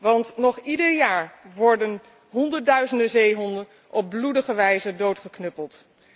Want nog ieder jaar worden honderdduizenden zeehonden op bloedige wijze doodgeknuppeld.